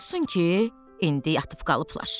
Olsun ki, indi yatıb qalıblar.